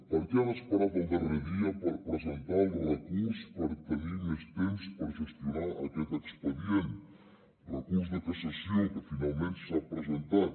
per què han esperat al darrer dia per presentar el recurs per tenir més temps per gestionar aquest expedient recurs de cassació que finalment s’ha presentat